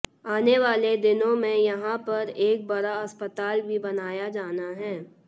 आने वाले दिनों में यहां पर एक बड़ा अस्पताल भी बनाया जाना है